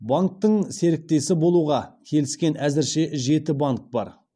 банктің серіктесі болуға келіскен әзірше жеті банк бар